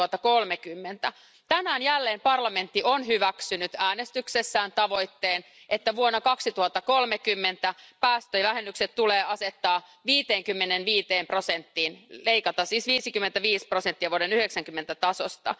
2030. Tänään jälleen parlamentti on hyväksynyt äänestyksessään tavoitteen, että vuonna 2030 päästövähennykset tulee asettaa 55 prosenttiin, leikata siis 55 prosenttia vuoden 90 tasosta.